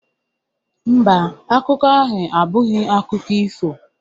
Mba, akụkọ ahụ abụghị akụkọ ifo